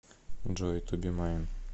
джой ту би майн